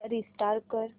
restart कर